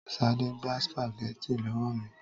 Ṣadé gba Spaghetti lọ́wọ́ mi